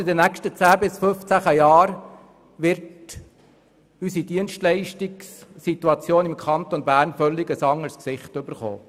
In den nächsten zehn bis fünfzehn Jahren wird unsere Dienstleistungssituation im Kanton Bern ein völlig anderes Gesicht erhalten.